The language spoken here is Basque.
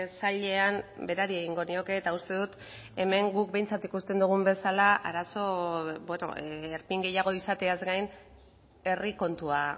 sailean berari egingo nioke eta uste dut hemen guk behintzat ikusten dugun bezala arazo erpin gehiago izateaz gain herri kontua